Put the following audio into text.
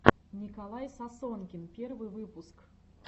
николай сосонкин первый выпуск